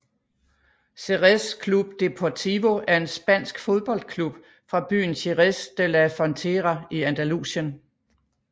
Xerez Club Deportivo er en spansk fodboldklub fra byen Jerez de la Frontera i Andalusien